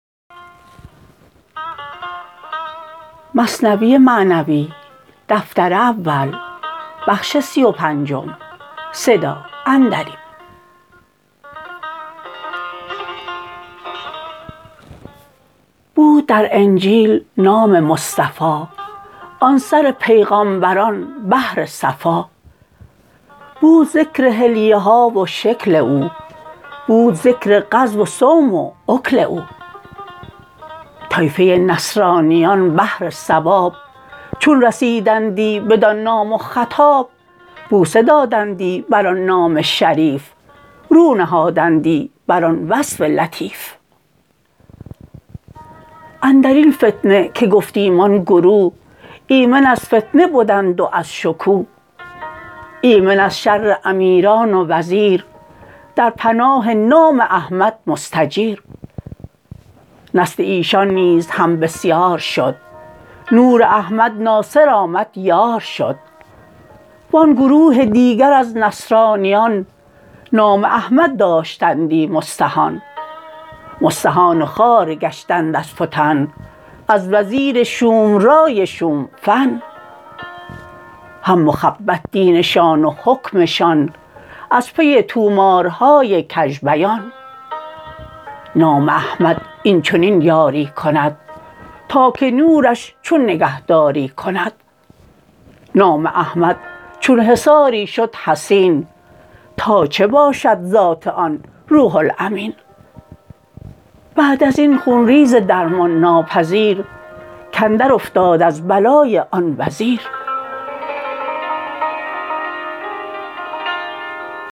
بود در انجیل نام مصطفی آن سر پیغامبران بحر صفا بود ذکر حلیه ها و شکل او بود ذکر غزو و صوم و اکل او طایفه نصرانیان بهر ثواب چون رسیدندی بدان نام و خطاب بوسه دادندی بر آن نام شریف رو نهادندی بر آن وصف لطیف اندرین فتنه که گفتیم آن گروه ایمن از فتنه بدند و از شکوه ایمن از شر امیران و وزیر در پناه نام احمد مستجیر نسل ایشان نیز هم بسیار شد نور احمد ناصر آمد یار شد وان گروه دیگر از نصرانیان نام احمد داشتندی مستهان مستهان و خوار گشتند از فتن از وزیر شوم رای شوم فن هم مخبط دینشان و حکمشان از پی طومارهای کژ بیان نام احمد این چنین یاری کند تا که نورش چون نگهداری کند نام احمد چون حصاری شد حصین تا چه باشد ذات آن روح الامین بعد ازین خون ریز درمان ناپذیر کاندر افتاد از بلای آن وزیر